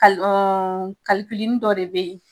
nin dɔ de bɛ yen